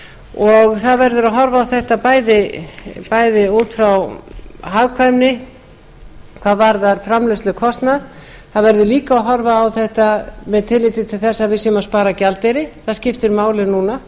og það verður að horfa á þetta bæði út frá hagkvæmni hvað varðar framleiðslukostnað það verður líka að horfa á þetta með tilliti til þess að við séum að spara gjaldeyri það skiptir máli núna